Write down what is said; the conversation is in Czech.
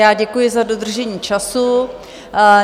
Já děkuji za dodržení času.